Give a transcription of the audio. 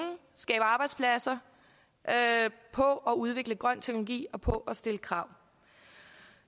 skabe arbejdspladser på at udvikle grøn teknologi og på at stille krav